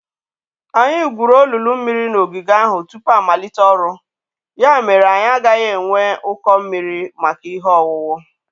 Anyị gwuru olulu mmiri n’ogige ahụ tupu amalite ọrụ; ya mere anyị agaghị enwe ụkọ mmiri maka ihe owuwu.